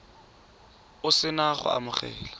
o se na go amogela